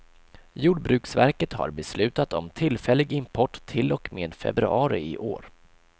Jordbruksverket har beslutat om tillfällig import till och med februari i år.